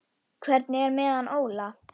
Hvernig er með hann Óla?